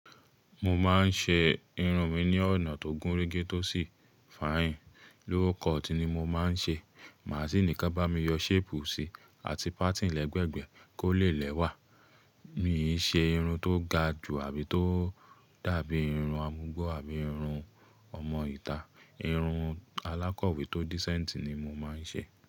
Mo máa ń ṣe irun mi ní ọ̀nà tó gúnrégé tó sì fine. Low cut ni mo máa ń ṣe. Màsíìnì ka bá mi yọ shape si àti parting lẹ́gbẹ̀gbẹ́ kó lè lẹ́wà. Mi i ṣe irun tó ga ju àbí tó dàbí irun amugbó àbí irun ọmọ ìta. Irun alákọ̀wé tó decent ni mo máa ń ṣe.